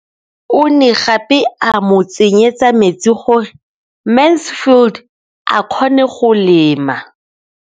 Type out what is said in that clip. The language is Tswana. O ne gape a mo tsenyetsa metsi gore Mansfield a kgone go lema.